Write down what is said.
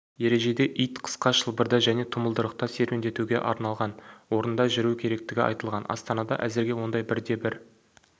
ережеде ит қысқа шылбырда және тұмылдырықта серуендетуге арналған орында жүру керектігі айтылған астанада әзірге ондай бірде-бір